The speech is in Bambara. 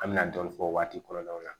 An me na dɔɔnin fɔ o waati kɔrɔlaw la